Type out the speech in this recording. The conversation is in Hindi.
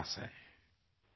phone call